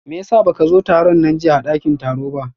meyasa baka zo tarun na jiyya a dakin taro ba?